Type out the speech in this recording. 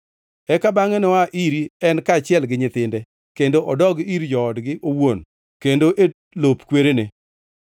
Eka bangʼe noa iri en kaachiel gi nyithinde, kendo odogi ir joodgi owuon kendo e lop kwerene.